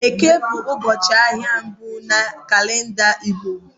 Eke bụ ụbọchị ahịa mbụ na kalenda Igbo